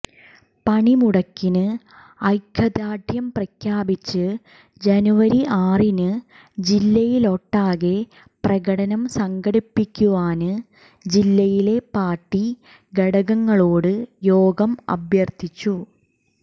പണിമുടക്കിന് ഐക്യദാര്ഢ്യം പ്രഖ്യാപിച്ച് ജനുവരി ആറിന് ജില്ലയിലൊട്ടാകെ പ്രകടനം സംഘടിപ്പിക്കുവാന് ജില്ലയിലെ പാര്ട്ടി ഘടകങ്ങളോടും യോഗം അഭ്യര്ത്ഥിച്ചു